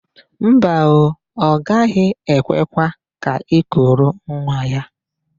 Mba ooo, ọ gaghị ekwekwa ka i kuru nwa ya.